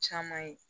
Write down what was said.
Caman ye